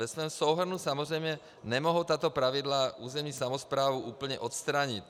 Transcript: Ve svém souhrnu samozřejmě nemohou tato pravidla územní samosprávu úplně odstranit.